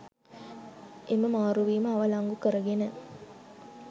එම මාරුවීම අවලංගු කරගෙන